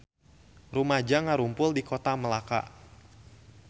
Rumaja ngarumpul di Kota Melaka